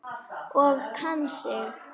Og kann sig.